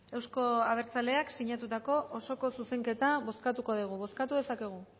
euzko abertzaleak sinatutako osoko zuzenketa bozkatuko dugu bozkatu dezakegu